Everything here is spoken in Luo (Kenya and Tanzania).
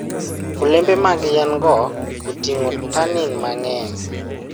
Olembe mag yien-go oting'o tannin mang'eny.